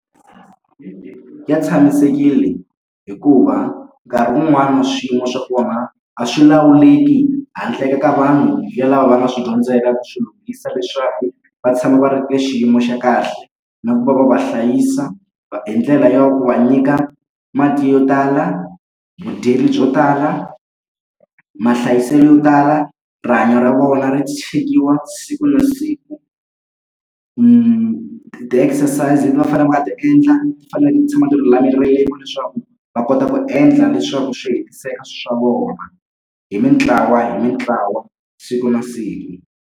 Ya tshamisekile hikuva nkarhi wun'wani swiyimo swa vona a swi lawuleki handle ka vanhu ya lava va nga swi dyondzela ku swi lunghisa leswaku va tshama va ri ka xiyimo xa kahle, na ku va va va hlayisa hi ndlela ya ku va nyika mati yo tala, vudyelo byo tala, mahlayiselo yo tala, rihanyo ra vona ri chekiwa siku na siku. Ti-exercise leti va va fanele va nga ta endla ti faneleke ni tshama ni lulamerile leswaku va kota ku endla leswaku swi hetiseka swa vona. Hi mitlawa hi mitlawa, siku na siku.